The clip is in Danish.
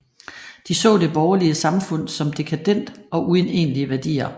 De så det borgerlige samfund som dekadent og uden egentlige værdier